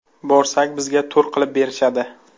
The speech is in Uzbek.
Borsak, bizga tur qilib berishadi.